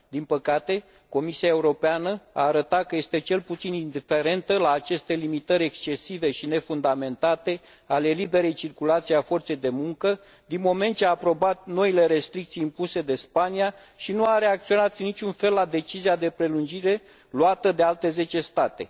Din păcate, Comisia Europeană a arătat că este cel puțin indiferentă la aceste limitări excesive și nefundamentate ale liberei circulații a forței de muncă, din moment ce a aprobat noile restricții impuse de Spania și nu a reacționat în niciun fel la decizia de prelungire luată de alte zece state.